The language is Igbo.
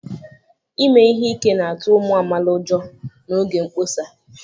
Ime ihe ike na-atụ ụmụ amaala ụjọ n'oge mkpọsa